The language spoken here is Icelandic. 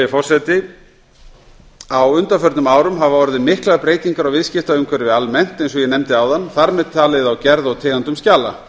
forseti á undanförnum árum hafa orðið miklar breytingar á viðskiptaumhverfi almennt eins og ég nefndi áðan þar með talið á gerð og tegundum skjala